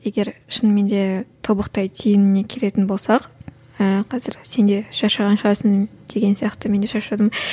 егер шынымен де тобықтай түйініне келетін болсақ ыыы қазір сен де шаршаған шығарсың деген сияқты мен де шаршадым